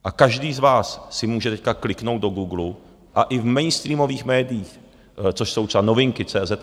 A každý z vás si může teď kliknout do Googlu a i v mainstreamových médiích, což jsou třeba Novinky.cz